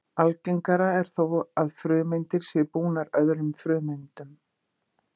Algengara er þó að frumeindir séu bundnar öðrum frumeindum.